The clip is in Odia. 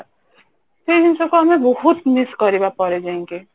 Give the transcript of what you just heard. ସେଇ ଜିନିଷ କୁ ଆମେ ବହୁତ miss କରିବା ପରେ ଯାଇକି